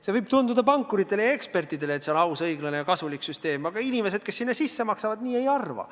See võib aus, õiglane ja kasulik tunduda pankuritele ja ekspertidele, aga inimesed, kes sinna sisse maksavad, nii ei arva.